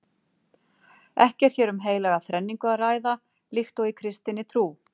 Ekki er hér um heilaga þrenningu að ræða líkt og í kristinni trú.